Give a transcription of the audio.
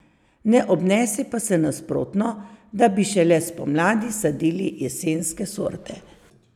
Ne obnese pa se nasprotno, da bi šele spomladi sadili jesenske sorte.